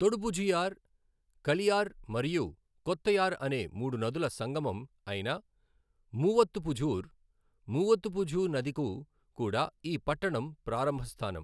తొడుపుఝయార్, కలియార్ మరియు కొత్తయార్ అనే మూడు నదుల సంగమం అయిన మూవత్తుపుఝార్, మూవత్తుపుఝా నది కు కూడా ఈ పట్టణం ప్రారంభ స్థానం.